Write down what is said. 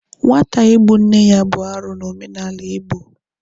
Nwata igbu nne ya bụ arụ n'omenala Igbo.